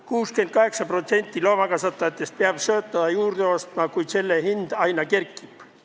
68% loomakasvatajatest peab sööta juurde ostma, kuid selle hind aina kerkib.